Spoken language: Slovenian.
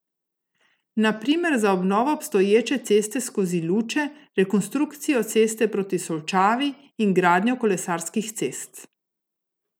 Na primer za obnovo obstoječe ceste skozi Luče, rekonstrukcijo ceste proti Solčavi in gradnjo kolesarskih cest.